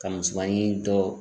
Ka misɛnmanin dɔ